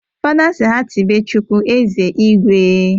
Fada sị ha tibe chukwu "Eze Igwe"